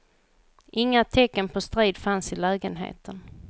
Inga tecken på strid fanns i lägenheten.